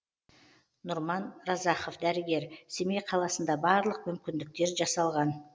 нұрман разахов дәрігер семей қаласында барлық мүмкіндіктер жасалған